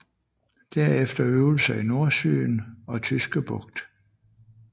Derefter øvelser i Nordsøen og Tyske Bugt